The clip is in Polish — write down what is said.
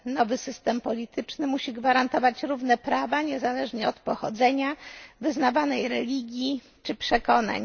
Nowy system polityczny musi gwarantować równe prawa niezależnie od pochodzenia, wyznawanej religii czy przekonań.